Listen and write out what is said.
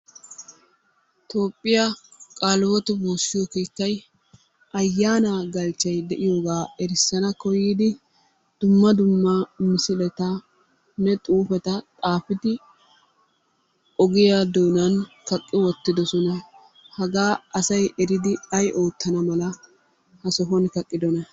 Toophphiya kaaliwoote woossiyo keettay ayaanaa galchchay de'iyogaa erssana koyyidi dumma dumma misiletanne xuufeta xaafidi ogiya doonan kaqqi wottiddosona. Hagaa asay eridi ay oottana mala ha sohuwan kaqqiddonaa?